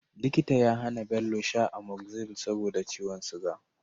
Likita ya hAna Bello sha Amoxicillin saboda ciwon siga